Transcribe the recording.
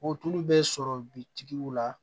O tulu bɛ sɔrɔ bitigiw la